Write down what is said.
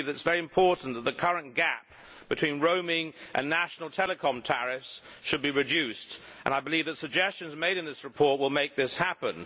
I believe that it is very important that the current gap between roaming and national telecom tariffs should be reduced, and I believe that the suggestions made in this report will make this happen.